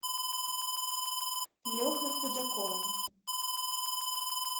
лехой худяковым